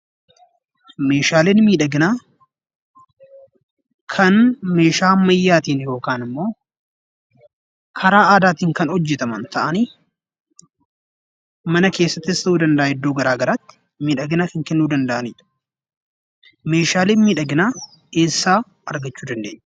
Meeshaaleen miidhaginaa kan meeshaa ammayyaatiin yookaan immoo karaa aadaatiin kan hojjetaman ta'anii, mana keessattis ta'uu danda'a iddoo garaa garaatti miidhagina kan kennuu danda'anidha. Meeshaaleen miidhaginaa eessaa argachuu dandeenya?